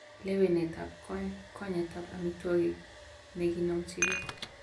Lewenetab kwanykwanyetab amitwogik nekinomchin gee.